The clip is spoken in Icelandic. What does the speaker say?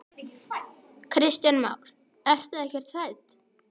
Kristján Már: Ertu ekkert hrædd?